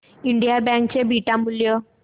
Indian bank चे beta मूल्य